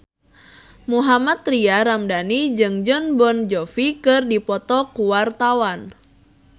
Mohammad Tria Ramadhani jeung Jon Bon Jovi keur dipoto ku wartawan